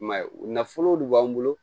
I m'a ye u nafolow de b'an bolo